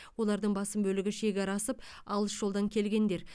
олардың басым бөлігі шекара асып алыс жолдан келгендер